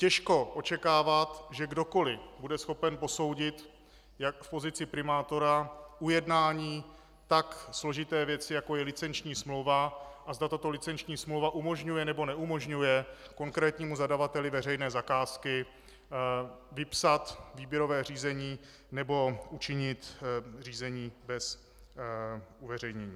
Těžko očekávat, že kdokoliv bude schopen posoudit jak v pozici primátora ujednání tak složité věci, jako je licenční smlouva, a zda tato licenční smlouva umožňuje nebo neumožňuje konkrétnímu zadavateli veřejné zakázky vypsat výběrové řízení, nebo učinit řízení bez uveřejnění.